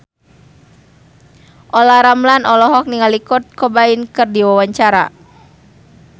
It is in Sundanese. Olla Ramlan olohok ningali Kurt Cobain keur diwawancara